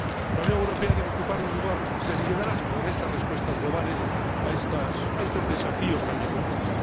La Unión Europea debe ocupar un lugar de liderazgo en estas respuestas globales a estos desafíos, también globales.